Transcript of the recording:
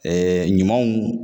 ɲumanw